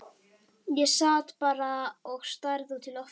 Ég sat bara og starði út í loftið.